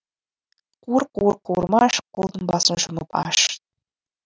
қуыр қуыр қуырмаш қолдың басын жұмып аш